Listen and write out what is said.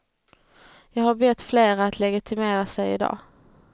Jag har bett flera att legitimera sig i dag.